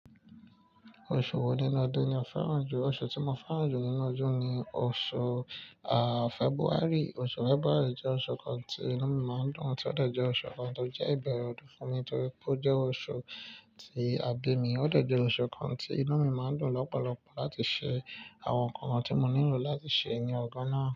Oṣù wo nínú ọdún ni o fẹ́ràn jù? Oṣù tí mo fẹ́ràn jù nínú ọdún ni oṣù, à, February. Oṣù February jẹ́ oṣù kan tí inú mi máa ń dùn, tí ó de jẹ́ oṣù kan tó jẹ́ ìbẹ̀rẹ̀ ọdún fún mi nítorí pé ó jẹ́ oṣù tí àbí mi, ó de jẹ́ oṣù kan tí inú mi máa ń dùn lọ́pọ̀lọpọ̀ láti ṣe àwọn nǹkan tí mo nílò láti ṣe ní ọjo náà.